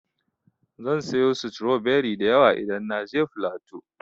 Zan sayo stroberi da yawa idan na je flatu.